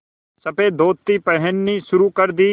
सफ़ेद धोती पहननी शुरू कर दी